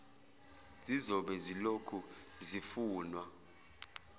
zizobe zilokhu zifunwa